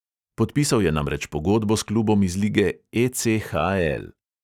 Podpisal je namreč pogodbo s klubom iz lige ECHL.